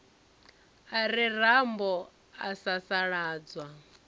a re rambo a sasaladzwa